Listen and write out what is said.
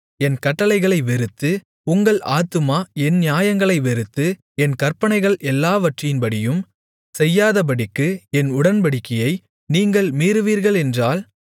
என் கட்டளைகளை வெறுத்து உங்கள் ஆத்துமா என் நியாயங்களை வெறுத்து என் கற்பனைகள் எல்லாவற்றின்படியும் செய்யாதபடிக்கு என் உடன்படிக்கையை நீங்கள் மீறுவீர்களென்றால்